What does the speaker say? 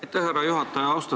Aitäh, härra juhataja!